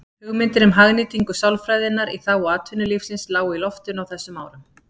Hugmyndir um hagnýtingu sálfræðinnar í þágu atvinnulífsins lágu í loftinu á þessum árum.